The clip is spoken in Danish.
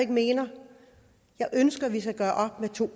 mener jeg ønsker at vi skal gøre op med to